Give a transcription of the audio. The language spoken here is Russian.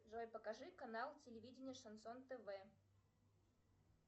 джой покажи канал телевидение шансон тв